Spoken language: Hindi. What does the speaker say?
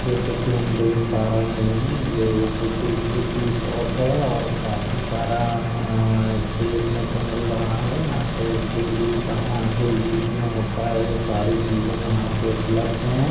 जैसे की हम देख पा रहे है यह एक बेकरी की शॉप है और काफी सारा अ अ देखने को मिल रहा है यहा पे डेली सामान जो यूज़ मैं होता है वो सारी चीजे यहा पे उपलब्ध है।